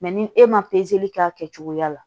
Mɛ ni e ma k'a kɛcogoya la